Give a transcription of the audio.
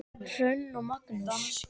Hrönn og Magnús.